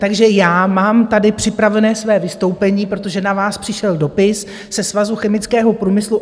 Takže já mám tady připravené své vystoupení, protože na vás přišel dopis ze Svazu chemického průmyslu.